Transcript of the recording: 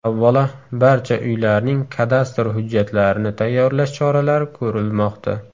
Avvalo, barcha uylarning kadastr hujjatlarini tayyorlash choralari ko‘rilmoqda.